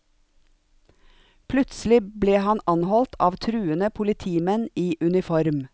Plutselig ble han anholdt av truende politimenn i uniform.